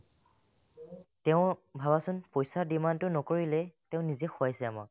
তেওঁ ভাবাচোন পইচাৰ demand টো নকৰিলেই তেওঁ নিজে খোৱাইছে আমাক